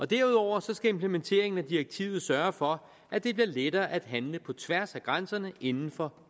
derudover skal implementeringen af direktivet sørge for at det bliver lettere at handle på tværs af grænserne inden for